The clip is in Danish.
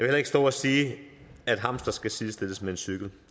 heller ikke stå og sige at en hamster skal sidestilles med en cykel